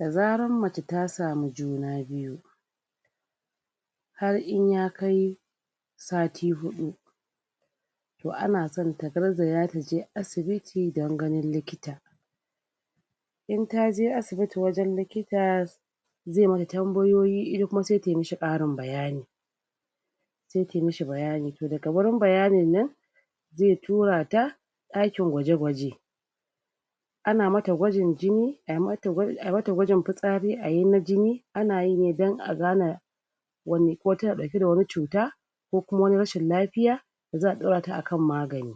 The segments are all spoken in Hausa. da zarar mace tasamu juna biyu har in ya kai sati hudu to anasan ta garzaya taje asibiti don ganin likita in taje asibiti dan ganin likita ze mata tambayoyi ita kuma sai ta mishi karin bayani sai ta mishi bayani daga wurin bayanin nan ze turata dakin gwaje gwaje ana mata gwajin jini ayi mata gwa ayimata gwajin fitsari ayi mata na jini anayi ne dan agana wani ko tana dauke da wani cuta kokuma wani rashin lafiya za'adorata akan magani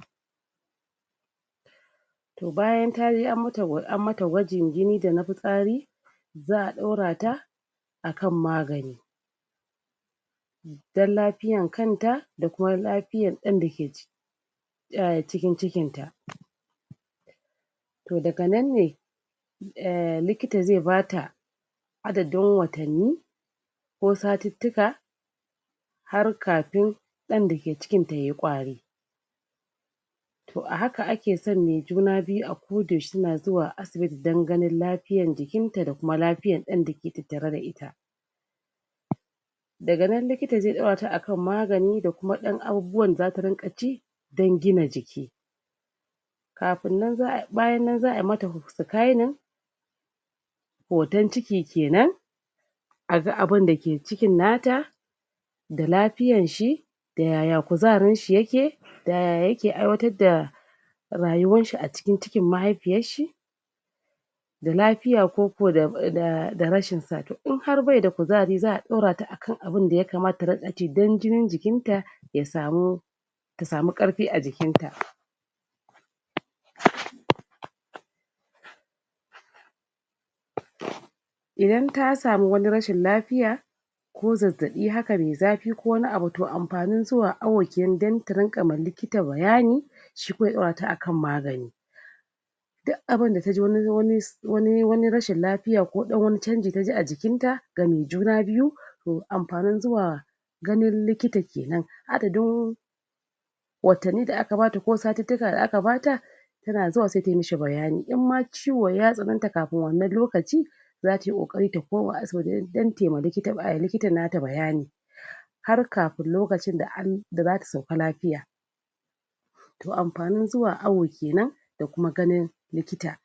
bayan taje an mata gwa an mata gwajin jini da na fitsari za'a dorata akan magani dan lafiyar kanta da kuma lafiyar dan dake ciki cikin cikinta to daga nan ne um likita ze bata adadin watanni ko satittika har kafin dan dake cikinta yayi kwari to ahaka akesan me juna biyu a ko yaushe suna zuwa asibiti dan ganin lafiyar jikinta da kuma lafiyar dan dake tattare da ita daga nan likita ze dorata akan magani da kamar dan abubuwan da zata ringa ci dan gina jiki kafin nan za'ay bayan nan za'ayi mata scanning hoto ciki kenan aga abunda ke cikin nata da lafiyanshi da yaya kuzarinshi yake da yaya yake aiwatarda rayuwanshi acikin cikin mahaifiyarshi da lafiya koko rashin sa in har baida kuzari za'a dorata duk abnda ya kamata ta dinga ci dan jinin jikinta ya samu tasamu karfi ajikinta idan tasamu wani rashin lafiya ko zazzabi haka mai zafi ko wani abu to amfanin zuwa hawai ta ringa wa likita bayani shi kuma ya dorata akan magani duk abinda taji wai wani wani wani rashin lafiya ko dan wani chanji taji ajikinta game juna byu to amfanin zuwa ganin likita kenan adadin watanni da aka bata ko satittika da aka bata yana zuwa sai tamishi bayani imma ciwon ya tsananta kafin wannan lokaci yaci tayi kokari ta koma asibiti dan tayiwa likita bayani har kafin lokacinda da zata sauka lafiya to amfanin zuwa hawu kenan da kuma ganin likita.